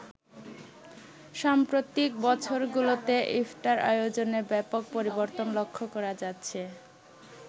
সাম্প্রতিক বছর গুলোতে ইফতার আয়োজনে ব্যাপক পরিবর্তন লক্ষ্য করা যাচ্ছে।